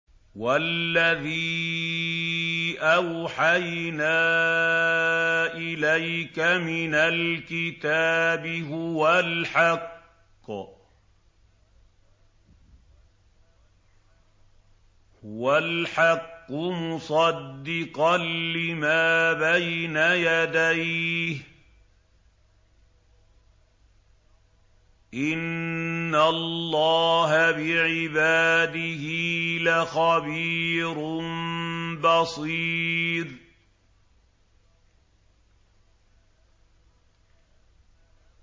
وَالَّذِي أَوْحَيْنَا إِلَيْكَ مِنَ الْكِتَابِ هُوَ الْحَقُّ مُصَدِّقًا لِّمَا بَيْنَ يَدَيْهِ ۗ إِنَّ اللَّهَ بِعِبَادِهِ لَخَبِيرٌ بَصِيرٌ